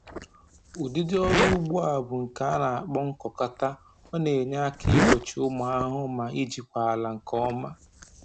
Ụdịdị ọrụ ugbo a bụ nke a na-akpọ nkụkọta, ọ na-enye aka igbochi ụmụ ahụhụ na ijikwa ala nke ọma